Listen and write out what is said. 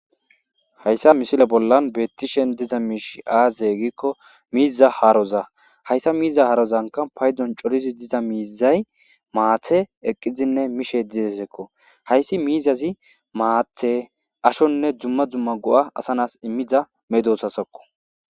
Haysan misile bolan betishe dizay aaze giko miiza haroza haysa harozanka paydon coridi diza miizay maathe eqidine mishe desko haysi miizazi haathe ashone duma duma go'ata emiza medosatako.